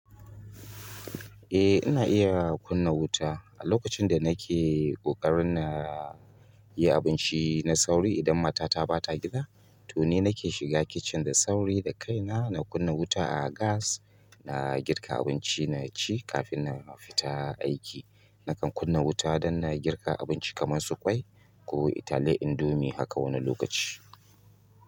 Eh ina iya kunna wuta. A lokacin da nake ƙoƙarin na yi abinci na sauri idan mata ta ɓata gida, to ni nake shiga kicin da sauri da kaina, na kunna wuta a gas, na girka abinci na ci kafin na fita aiki. Nakan kunna wuta don na girka abinci kamar su ƙwai ko taliyar indomie haka wannanlokaci.